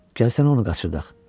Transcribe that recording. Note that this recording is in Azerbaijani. Gəl sən onu qaçırdaq.